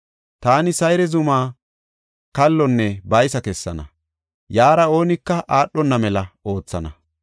Taani Sayre zumaa kallonne baysa kessana; yaara oonika aadhona mela oothana.